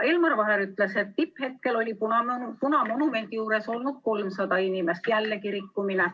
Ja Elmar Vaher ütles, et tipphetkel oli punamonumendi juures olnud 300 inimest – jällegi rikkumine.